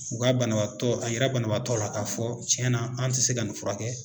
U ka banabaatɔ a yira banabaatɔ la k'a fɔ cɛnna an tɛ se ka nin fura kɛ.